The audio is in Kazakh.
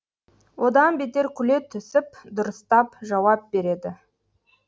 одан бетер күле түсіп дұрыстап жауап береді